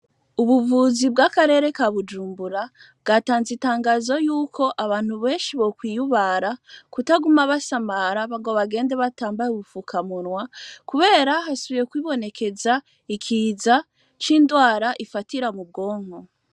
Ubuvuzi bw'akarere ka Bujumbura, bwatanze itangazo yuko abantu beshi bokwiyubara kutaguma basamara ngo bagende batambaye ubufuka munwa kubera hasubiye kwibonekeza, ikiza c'ingwara ifatira mubwonko.